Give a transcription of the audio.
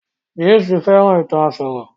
James fẹ́ràn ìtàn àsòrọ